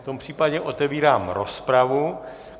V tom případě otevírám rozpravu.